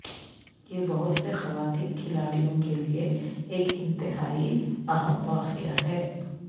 یہ بہت سے خواتین کھلاڑیوں کے لیے ایک انتہائی اہم واقعہ ہے